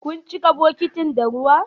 Kun cika bokitin da ruwa?